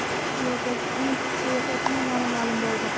Yerdagi eng keksa erkakning nomi ma’lum bo‘ldi.